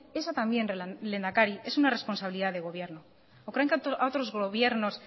esa también lehendakari es una responsabilidad de gobierno o creen que a otros gobiernos